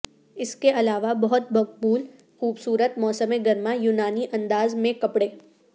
اس کے علاوہ بہت مقبول خوبصورت موسم گرما یونانی انداز میں کپڑے